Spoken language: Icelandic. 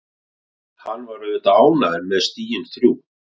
Hann var auðvitað ánægður með stigin þrjú.